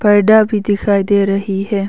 पर्दा भी दिखाई दे रही है।